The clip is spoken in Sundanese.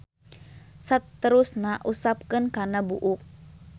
Saterusna usapkeun kana buuk.